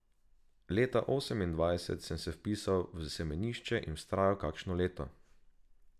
Leta osemindvajset sem se vpisal v semenišče in vztrajal kakšno leto.